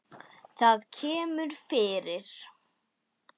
Það kemur fyrir.